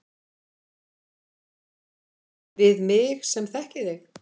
Við mig sem þekki þig.